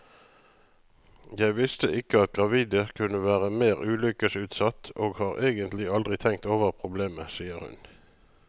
Jeg visste ikke at gravide kunne være mer ulykkesutsatt, og har egentlig aldri tenkt over problemet, sier hun.